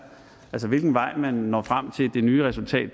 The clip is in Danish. ad hvilken vej man når frem til det nye resultat